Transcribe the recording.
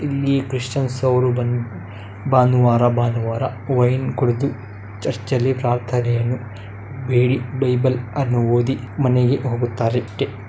ಇಲ್ಲಿ ಕ್ರಿಶ್ಚಿಯನರವರು ಬಂದು ಭಾನುವಾರ ಭಾನುವಾರ ವೈನ್‌ ಕುಡಿದು ಚರ್ಚ್‌ನಲ್ಲಿ ಪ್ರಾರ್ಥನೆಯನ್ನು ಬೇಡಿ ಬೈಬಲ್‌ ಅನ್ನು ಓದಿ ಮನೆಗೆ ಹೋಗುತ್ತಾರೆ.